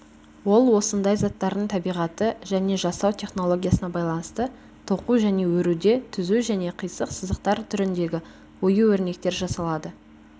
ол осындай заттардың табиғаты және жасау технологиясына байланысты тоқу және өруде түзу және қисық сызықтар түріндегі ою-өрнектер жасалады